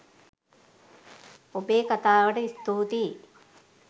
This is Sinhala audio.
ඔබේ කතාවට ස්තුතියි